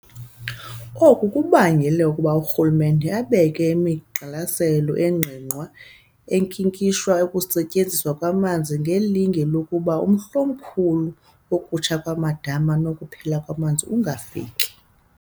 Oku kubangele ukuba urhulumente abeke imigqaliselo engqingqwa enkinkisha ukusetyenziswa kwamanzi ngelinge lokuba umhl'omkhulu wokutsha kwamadama nokuphela kwamanzi ungafiki.